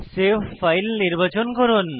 save file নির্বাচন করুন